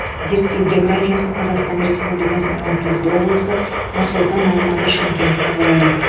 зерттеу географиясы қазақстан республикасының он төрт облысы нұр сұлтан алматы шымкент қалалары